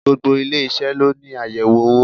Gbogbo ilé-isẹ ló ní ayẹwo owó.